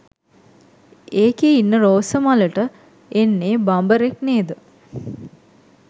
ඒකෙ ඉන්න රෝස මලට එන්නේ බඹරෙක් නේද?